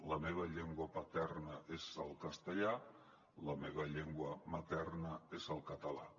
la meva llengua paterna és el castellà la meva llengua materna és el català